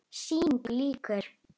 Sýningu lýkur.